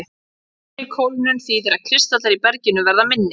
Hraðari kólnun þýðir að kristallar í berginu verða minni.